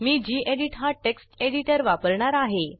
मी गेडीत हा text editor वापरणार आहे